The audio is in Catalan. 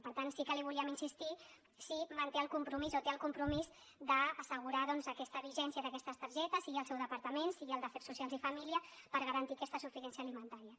per tant sí que li volíem insistir si manté el compromís o té el compromís d’assegurar doncs aquesta vigència d’aquestes targetes sigui el seu departament sigui el d’afers socials i famílies per garantir aquesta suficiència alimentària